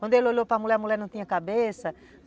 Quando ele olhou para a mulher, a mulher não tinha cabeça.